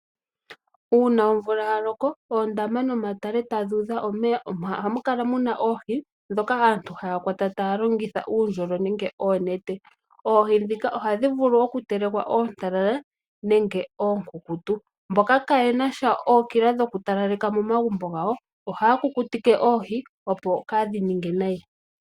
Omvula ngele ya loko oondama nomatale tadhi udha omeya omo hamu kala muna oohi ndhoka aantu haya kwata taya longitha uundjolo nenge oonete. Oohi ndhika ohadhi vulu oku telekwa oontalala nenge oonkunkutu. Mboka kaayena sha ookila dhoku talaleka momagumbo gawo ohaya kukutike oohi, opo kaadhi ninge nayi.